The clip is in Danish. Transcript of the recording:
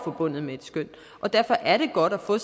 forbundet med et skøn derfor er det godt at få